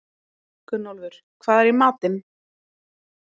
Gunnólfur, hvað er í matinn?